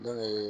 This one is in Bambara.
Ne ye